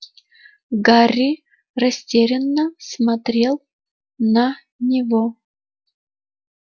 гарри растерянно смотрел на него